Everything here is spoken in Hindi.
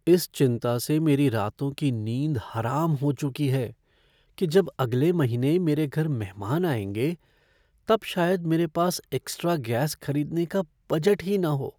इस चिंता से मेरी रातों की नींद हराम हो चुकी है कि जब अगले महीने मेरे घर मेहमान आएँगे तब शायद मेरे पास एक्स्ट्रा गैस खरीदने का बजट ही न हो।